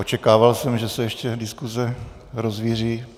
Očekával jsem, že se ještě diskuse rozvíří.